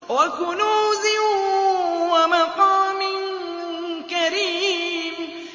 وَكُنُوزٍ وَمَقَامٍ كَرِيمٍ